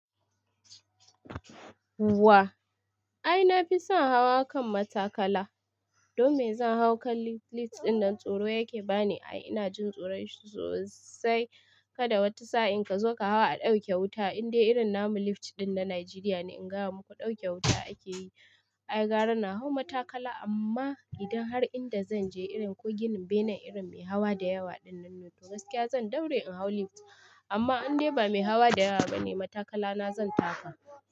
Wa. Ai na fi son hawa kan matakala. Don me zan hau kan lift? Lift dinnan tsoro yake bani. Ai ina jin tsoron shi sosai. Kada wata sa'in ka zo ka hawa a ɗauke wuta. In dai irin namu lift din na Najeriya ne, in ga muku ɗauke wuta ake yi. Ai gara na hau matakala, amma idan har inda zan je irin ko ginin bene irin mai hawa da yawa dinnan nuto, gaskiya zan daure in hau lift. Amma in dai ba mai hawa da yawa bane, matakalana zan taka.